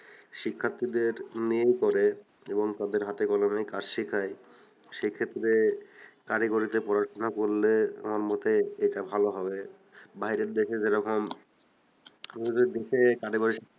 শিক্ষাত্রী দের mail করে এবং তাদের হাতে কলমেই কাজ শেখায় সেক্ষেত্রে কারিগরিতে পড়াশুনা করলে আমার মতে এটা ভালো হবে বাইরের দেশে যেরকম আমাদের দেশে